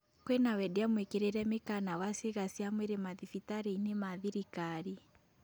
Kwĩna wendia mũĩkĩrĩre mĩkana wa ciĩga cia mwĩrĩ mathibitarĩ-inĩ ma thirikari